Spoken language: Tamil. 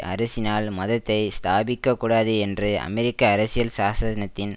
அரசினால் மதத்தை ஸ்தாபிக்கக்கூடாது என்று அமெரிக்க அரசியல் சாசனத்தின்